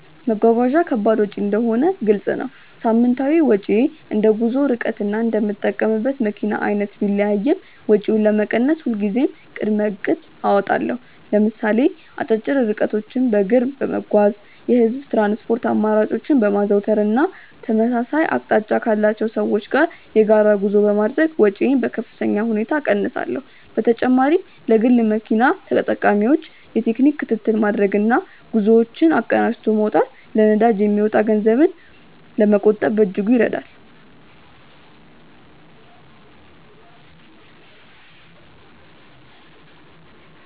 መጓጓዣ ከባድ ወጪ እንደሆነ ግልጽ ነው። ሳምንታዊ ወጪዬ እንደ ጉዞው ርቀትና እንደምጠቀምበት መኪና አይነት ቢለያይም፣ ወጪውን ለመቀነስ ሁልጊዜም ቅድመ እቅድ አወጣለሁ። ለምሳሌ አጫጭር ርቀቶችን በእግር በመጓዝ፣ የህዝብ ትራንስፖርት አማራጮችን በማዘውተር እና ተመሳሳይ አቅጣጫ ካላቸው ሰዎች ጋር የጋራ ጉዞ በማድረግ ወጪዬን በከፍተኛ ሁኔታ እቀንሳለሁ። በተጨማሪም ለግል መኪና ተጠቃሚዎች የቴክኒክ ክትትል ማድረግና ጉዞዎችን አቀናጅቶ መውጣት ለነዳጅ የሚወጣን ገንዘብ ለመቆጠብ በእጅጉ ይረዳል።